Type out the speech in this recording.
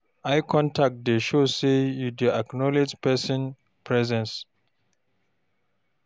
Eye contact dey show sey you dey acknowledge pesin presence.